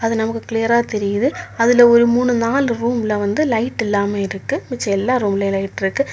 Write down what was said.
அது நமக்கு க்ளியரா தெரியுது அதுல ஒரு மூணு நாலு ரூமுல வந்து லைட் இல்லாம இருக்கு மிச்ச எல்லா ரூம்லயு லைட் இருக்கு.